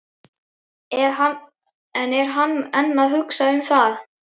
En er hann enn að hugsa um það?